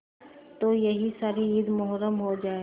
तो यह सारी ईद मुहर्रम हो जाए